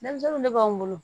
Denmisɛnninw de b'anw bolo